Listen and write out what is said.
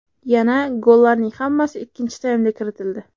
Yana, gollarning hammasi ikkinchi taymda kiritildi.